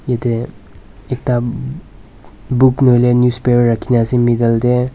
Yate ekta book nohoile newspaper rakhina ase middle tey.